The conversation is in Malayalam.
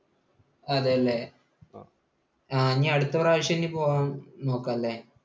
അതെ അല്ലേ, ഇനി അടുത്ത പ്രാവശ്യം ഇനി പോകാൻ നോക്കാം അല്ലേ?